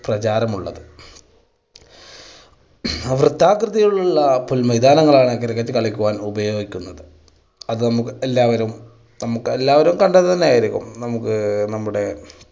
പ്രചാരമുള്ളത്. വൃത്താകൃതിയിലുള്ള പുൽ മൈതാനാങ്ങളാണ് cricket കളിക്കുവാൻ ഉപയോഗിക്കുന്നത്, അത് നമുക്ക് എല്ലാവരും നമുക്ക് എല്ലാവരും കണ്ടത് തന്നെയായിരിക്കും, നമുക്ക് നമ്മുടെ